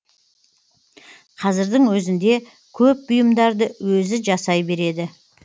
қазірдің өзінде көп бұйымдарды өзі жасай береді